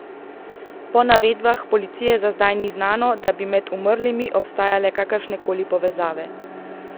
Po navedbah policije za zdaj ni znano, da bi med umrlimi obstajale kakršne koli povezave.